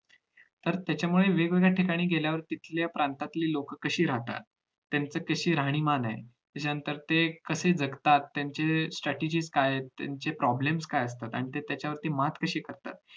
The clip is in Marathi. तर त्याच्यामुळे वेगवेगळ्या ठिकाणी गेल्यामुळे तिथल्या प्रांतातील लोक कशी राहतात त्यांची कशी राहणीमान आहे त्याच्यानंतर ते कसे जगतात त्यांचे stratergy काय आहेत त्यांचे problems काय असतात आणि ते त्याच्यावरती मात कशी करतात